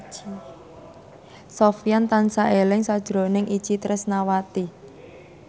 Sofyan tansah eling sakjroning Itje Tresnawati